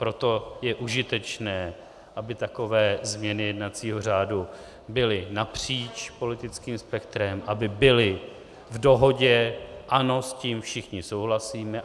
Proto je užitečné, aby takové změny jednacího řádu byly napříč politickým spektrem, aby byly v dohodě - ano, s tím všichni souhlasíme.